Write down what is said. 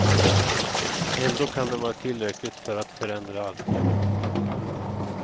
Ändå kan den vara tillräcklig för att förändra allting.